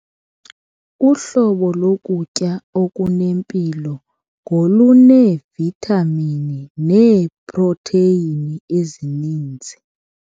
Uhlobo lokutya okunempilo ngoluneevithamini neeprotheyini ezininzi.